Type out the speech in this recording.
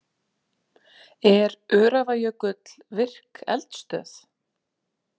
Er Öræfajökull virk eldstöð?